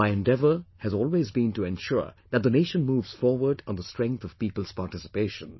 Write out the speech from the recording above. My endeavour has always been to ensure that the nation moves forward on the strength of people's participation